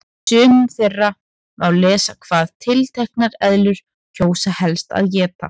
Í sumum þeirra má lesa hvað tilteknar eðlur kjósa helst að éta.